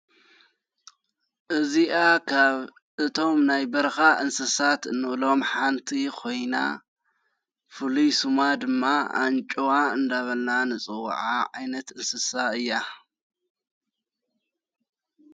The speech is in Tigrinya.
እዚኣ ኻብ እቶም ናይ በርኻ እንስሳት ንእሎም ሓንቲ ኾይና ፍልይስማ ድማ ኣንጮዋ እንዳበልና ንፅዉዓ ዓይነት እንስሳ እያ።